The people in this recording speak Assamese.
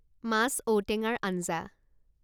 মাছ ঔটেঙাৰ আঞ্জা